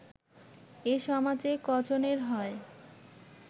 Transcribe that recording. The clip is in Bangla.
এ সমাজে ক’জনের হয়